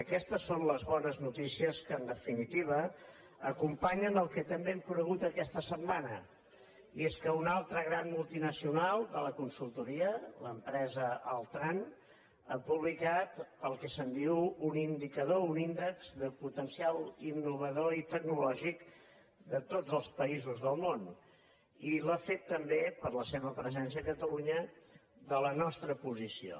aquestes són les bones notícies que en definitiva acompanyen el que també hem conegut aquesta set·mana i és que una altra gran multinacional de la con·sultoria l’empresa altran ha publicat el que se’n diu un indicador un índex de potencial innovador i tecnolò gic de tots els països del món i l’ha fet també per la seva presència a catalunya de la nostra posició